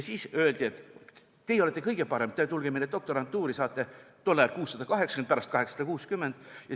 Siis öeldi, et teie olete kõige parem, tulge meile doktorantuuri, saate 680 eurot – tol ajal oli 680, pärast 860 eurot.